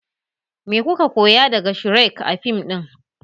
Me kuka koya daga shrek a fim ɗin?